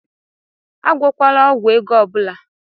Agwọkwala ọgwụ ego ọ bụla!